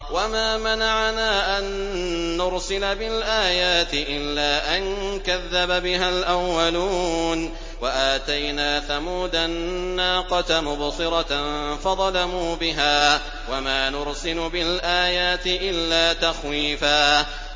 وَمَا مَنَعَنَا أَن نُّرْسِلَ بِالْآيَاتِ إِلَّا أَن كَذَّبَ بِهَا الْأَوَّلُونَ ۚ وَآتَيْنَا ثَمُودَ النَّاقَةَ مُبْصِرَةً فَظَلَمُوا بِهَا ۚ وَمَا نُرْسِلُ بِالْآيَاتِ إِلَّا تَخْوِيفًا